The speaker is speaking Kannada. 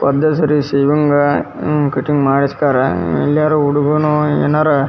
ಒದ್ದೆ ಸರ್ವಿಸ್ ಇವಂಗ ಕಟಿಂಗ್ ಮಾಡಿಸ್ತಾರಾ ಎಲ್ಲರ ಹುಡುಗರು ಏನಾರ --